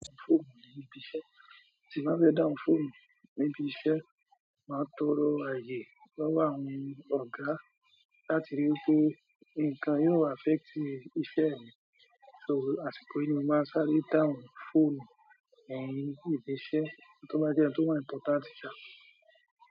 Má fé dáhùn fóònù níbi iṣẹ́, tí n bá fẹ dáhùn fóònù níbi iṣẹ́ máa tó rò ààyè lọ́wọ́ àwọn ọ̀gá láti rí wí pé nǹkan yìí ò affect iṣẹ́ mi. So àsìkò yìí ni mo màá n ṣáré dáhùn fóònù en ní ibi iṣẹ́ tó bá jẹ́ ẹni tó wà important sàá.